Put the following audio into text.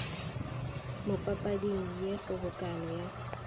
mo papading ye kgobokano ya